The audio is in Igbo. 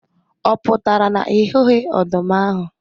Ọ pụtara na ị hụghị ọdụm ahu